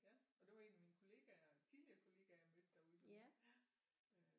Ja og det var en af mine kollegaer tidligere kollegaer jeg mødte derude nu